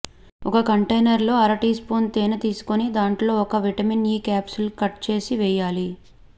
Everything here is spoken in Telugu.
ఒక కంటేనర్లో అర టీ స్పూన్ తేనె తీసుకొని దాంట్లో ఒక విటమిన్ ఇ క్యాప్సుల్ కట్ చేసి వేయాలి